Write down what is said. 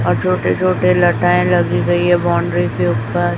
और छोटे छोटे लताएं लगी गई है बाउंड्री के ऊपर--